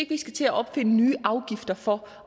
til at opfinde nye afgifter for